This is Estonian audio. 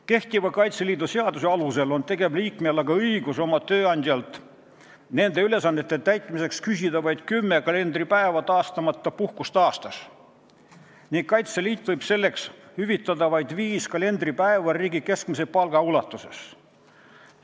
Kehtiva Kaitseliidu seaduse alusel on tegevliikmel õigus oma tööandjalt nende ülesannete täitmiseks küsida vaid 10 kalendripäeva tasustamata puhkust aastas ning Kaitseliit võib sellest hüvitada vaid viis kalendripäeva riigi keskmise palga ulatuses.